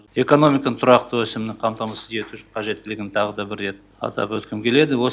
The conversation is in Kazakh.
экономиканың тұрақты өсімін қамтамасыз ету қажеттілігін тағы да бір рет атап өткім келеді